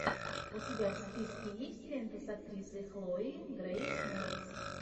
у тебя в списке есть лента с актрисой хлоей грейс морец